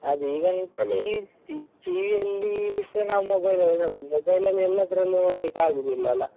ಅದೇ ಈಗ TV ಯಲ್ಲಿ ಬಿಟ್ಟರೆ ನಾವು mobile ಅಲ್ಲಿ ನೋಡುದು mobile ಅಲ್ಲಿ ಎಲ್ಲಾದ್ರಲ್ಲೂ ನೋಡ್ಲಿಕ್ಕೆ ಆಗುದಿಲ್ಲ ಅಲ್ಲಾ.